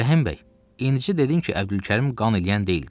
Rəhim bəy, indi dedin ki, Əbdülkərim qan eləyən deyildi.